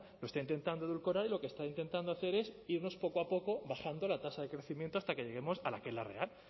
lo está intentando edulcorar y lo que está intentando hacer es irnos poco a poco bajando la tasa de crecimiento hasta que lleguemos a la que es la real